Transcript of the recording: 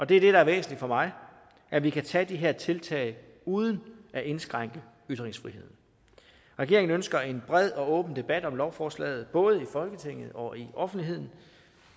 det er det der er væsentligt for mig at vi kan tage de her tiltag uden at indskrænke ytringsfriheden regeringen ønsker en bred og åben debat om lovforslaget både i folketinget og i offentligheden